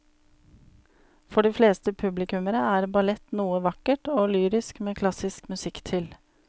For de fleste publikummere er ballett noe vakkert og lyrisk med klassisk musikk til.